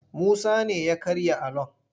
Musa ne ya karya alon.